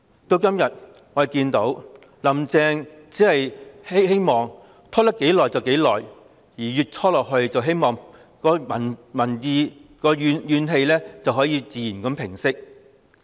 我們今天看到"林鄭"只希望能拖多久便多久，希望一直拖下去，市民的怨氣便能自然平息。